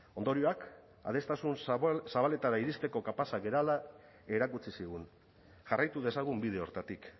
ondorioak adostasun zabaletara iristeko kapazak garela erakutsi zigun jarraitu dezagun bide horretatik